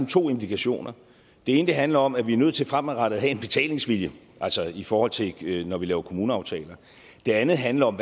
to indikationer det ene handler om at vi er nødt til fremadrettet at have en betalingsvilje altså i forhold til når vi laver kommuneaftaler og det andet handler om